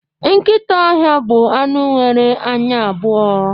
Nkịta ọhịa bụ anụ nwere anya abụọ